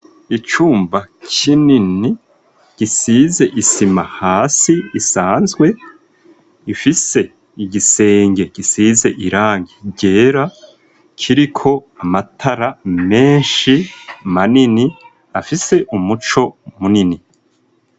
icumba kinini gisize isima hasi isanzwe ifise igisenge gisize irangi ryera kiriko amatara menshi manini afise umuco munini.